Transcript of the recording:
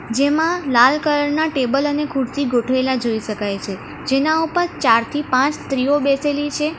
જેમાં લાલ કલર ના ટેબલ અને ખુરશી ગોઠવેલા જોઈ શકાય છે જેના ઉપર ચારથી પાંચ સ્ત્રીઓ બેસેલી છે.